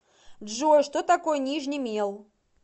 джой что такое нижний мел